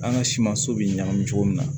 An ka simanso bɛ ɲagami cogo min na